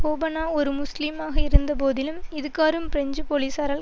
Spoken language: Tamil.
போபனா ஒரு முஸ்லிமாக இருந்தபோதிலும் இதுகாறும் பிரெஞ்சு போலீசாரால்